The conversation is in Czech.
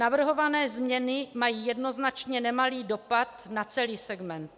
Navrhované změny mají jednoznačně nemalý dopad na celý segment.